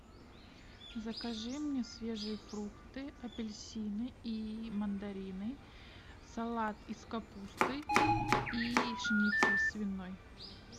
закажи мне свежие фрукты апельсины и мандарины салат из капусты и шницель свиной